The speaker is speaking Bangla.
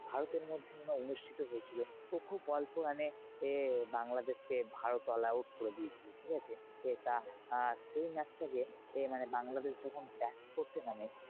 ভারতের মধ্যে মনে হয় অনুষ্ঠিত হয়ে ছিল তো খুব অল্প run এ বাংলাদেশ কে ভারত all out করে দিয়েছিলো। ঠিকাছে? তা আ সেই match টা কে বাংলাদেশ যখন ব্যাট করতে নামে,